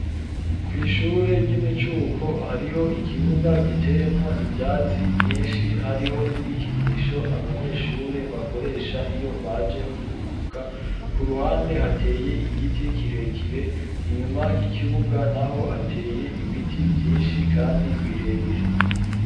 Kw'ishure ry'imicuko hariho ikibuga giteyemwo ivyatsi vyinshi hariho n'ibikinisho abanyeshure bakoresha iyo baje kuruhuka ku ruhande hateye igiti kirekire inyuma y'ikibuga naho hateye ibiti vyinshi kandi birebire.